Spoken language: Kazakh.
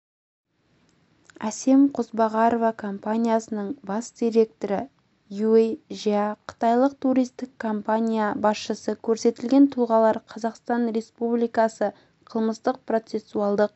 әсем қозбағарова компаниясының бас директоры юй жя қытайлық туристік компания басшысы көрсетілген тұлғалар қазақстан республикасы қылмыстық-процессуалдық